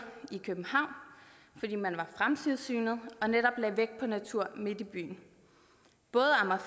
i københavn fordi man var fremsynet og netop lagde vægt på natur midt i byen både amager